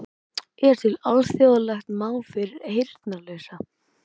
Er til alþjóðlegt mál fyrir heyrnarlausa?